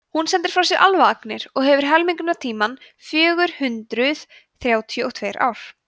hún sendir frá sér alfaagnir og hefur helmingunartímann fjögur hundruð þrjátíu og tveir ár